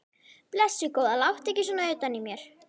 Blessuð góða, láttu ekki svona utan í mér.